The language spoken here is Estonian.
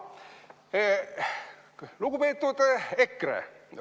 Lugupeetud EKRE!